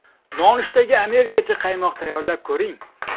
Nonushtaga amerikancha quymoq tayyorlab ko‘ring.